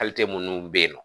Halite munnu be ye nɔ